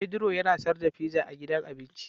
Pedro yana sar da fiza a gidan abinci.